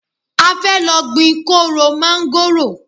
A fẹ́ lọ gbin kóóró máńgóròò.